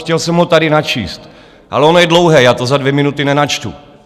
Chtěl jsem ho tady načíst, ale ono je dlouhé, já to za dvě minuty nenačtu.